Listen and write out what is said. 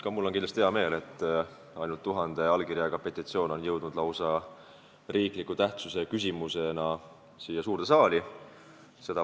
Ka mul on kindlasti hea meel, et ainult tuhande allkirjaga petitsioon on jõudnud lausa olulise tähtsusega riikliku küsimusena siia suurde saali.